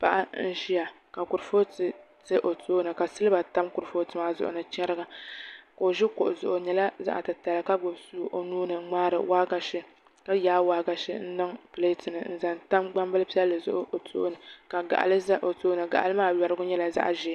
Paɣa n ʒiya ka kuripooti ʒɛ o tooni ka silba tam kuripooti maa zuɣu ni chɛriga ka o ʒi kuɣu zuɣu o nyɛla zaɣ titali ka gbubi suu o nuuni n ŋmaari waagashe ka yaai waagashe n niŋ pileet ni zaŋ tam gbambili piɛlli zuɣu o tooni ka gaɣali ʒɛ o tooni gaɣali maa nyɛla zaɣ ʒiɛ